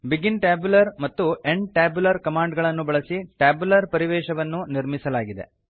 begin tabular ಮತ್ತು end tabular command ಗಳನ್ನು ಬಳಸಿ ಟ್ಯಾಬ್ಯುಲರ್ ಪರಿವೇಶವನ್ನು ನಿರ್ಮಿಸಲಾಗಿದೆ